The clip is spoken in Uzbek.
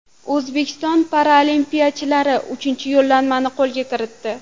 O‘zbekiston paralimpiyachilari uchinchi yo‘llanmani qo‘lga kiritdi.